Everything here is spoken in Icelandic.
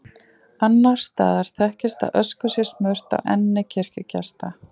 Annars staðar þekkist að ösku sé smurt á enni kirkjugesta.